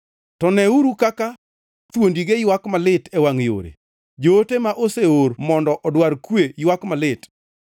To neuru kaka thuondige ywak malit e wangʼ yore; joote ma oseor mondo odwar kwe ywak malit.